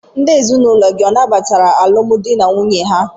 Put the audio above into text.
Ndị ezinụlọ gị ọ nabatara alụmdi na nwunye ahụ?